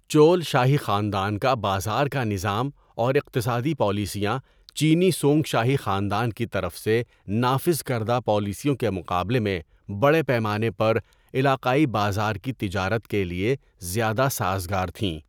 چول شاہی خاندان کا بازار کا نظام اور اقتصادی پالیسیاں چینی سونگ شاہی خاندان کی طرف سے نافذ کردہ پالیسیوں کے مقابلے میں بڑے پیمانے پر، علاقائی بازار کی تجارت کے لیے زیادہ سازگار تھیں۔